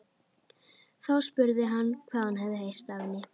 Þá spurði hann hvað hún hefði heyrt af henni.